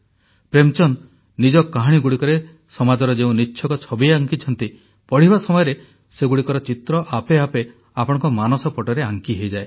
ପ୍ରେମଚନ୍ଦ ନିଜ କାହାଣୀଗୁଡ଼ିକରେ ସମାଜର ଯେଉଁ ନିଚ୍ଛକ ଛବି ଆଙ୍କିଛନ୍ତି ପଢ଼ିବା ସମୟରେ ସେଗୁଡ଼ିକର ଚିତ୍ର ଆପେ ଆପେ ଆପଣଙ୍କ ମାନସପଟରେ ଆଙ୍କି ହୋଇଯାଏ